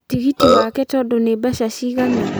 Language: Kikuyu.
Tigiti wake tondũ nĩ mbeca cigana?